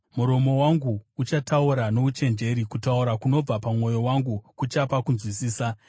Muromo wangu uchataura nouchenjeri; kutaura kunobva pamwoyo wangu kuchapa kunzwisisa.